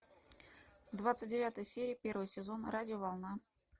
двадцать девятая серия первый сезон радиоволна